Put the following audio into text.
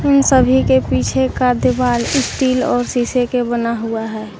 सभी के पीछे का दीवार स्टील और शीशे के बना हुआ है।